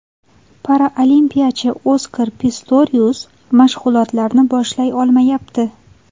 Paralimpiyachi Oskar Pistorius mashg‘ulotlarni boshlay olmayapti.